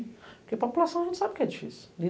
Porque a população não sabe que é difícil.